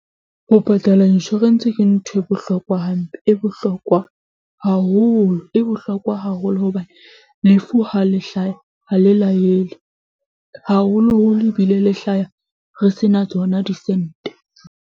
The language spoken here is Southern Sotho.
Ho patala insurance ke ntho e bohlokwa hampe e bohlokwa haholo. E bohlokwa haholo hobane lefu ha le hlaya ha le laele, haholoholo ebile le hlaya re sena tsona disente.